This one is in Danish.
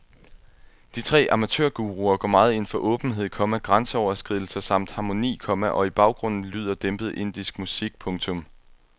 De tre amatørguruer går meget ind for åbenhed, komma grænseoverskridelser samt harmoni, komma og i baggrunden lyder dæmpet indisk musik. punktum